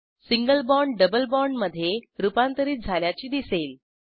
single bond double बाँडमधे रूपांतरित झाल्याचे दिसेल